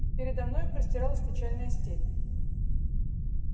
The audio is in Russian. передо мною простиралась печальная степь